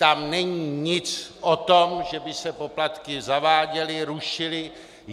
Tam není nic o tom, že by se poplatky zaváděly, rušily.